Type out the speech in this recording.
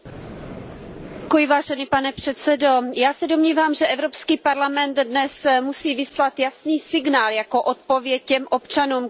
Pane předsedající, já se domnívám, že Evropský parlament dnes musí vyslat jasný signál jako odpověď těm občanům, kteří žijí v nejistotě.